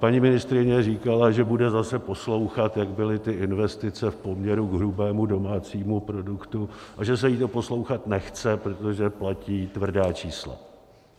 Paní ministryně říkala, že bude zase poslouchat, jak byly ty investice k poměru k hrubému domácímu produktu a že se jí to poslouchat nechce, protože platí tvrdá čísla.